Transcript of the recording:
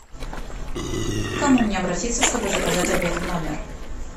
к кому мне обратиться чтобы заказать обед в номер